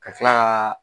Ka tila ka